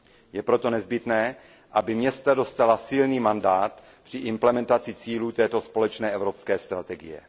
Je proto nezbytné, aby města dostala silný mandát při implementaci cílů této společné evropské strategie.